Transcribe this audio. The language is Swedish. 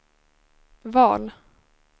val